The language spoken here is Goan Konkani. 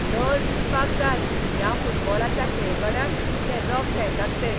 लज दिसपाक जाय ह्या फुटबॉलाच्या खेळगड्यांक इतले रफ खेळटात ते.